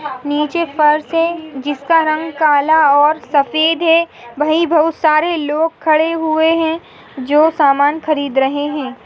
निचे फर्श है जिसका रंग काला और सफ़ेद है वही बहुत सारे लोग खड़े हुए है जो समान खरीद रहे है।